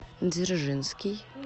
дзержинский